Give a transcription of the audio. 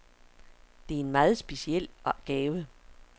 Det er en meget speciel gave.